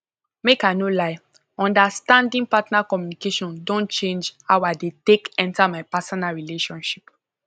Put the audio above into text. make i no lie understanding partner communication don change how i dey take enter my personal relationships